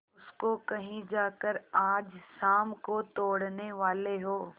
उसको कहीं जाकर आज शाम को तोड़ने वाले हों